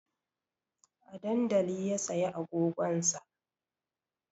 A dandali ya saya agogon sa